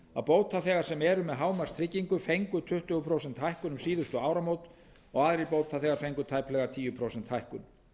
að bótaþegar sem eru með hámarkstryggingu fengu tuttugu prósenta hækkun um síðustu áramót og aðrir bótaþegar fengu tæplega tíu prósenta hækkun